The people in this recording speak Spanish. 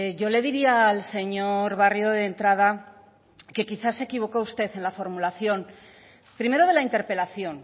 yo le diría al señor barrio de entrada que quizá se equivocó usted en la formulación primero de la interpelación